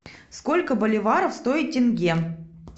сколько боливаров стоит тенге